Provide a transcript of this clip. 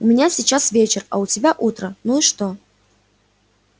у меня сейчас вечер у тебя утро ну и что